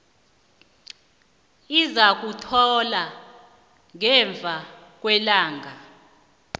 izakuthoma ngemva kwelanga